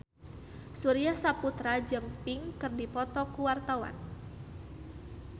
Surya Saputra jeung Pink keur dipoto ku wartawan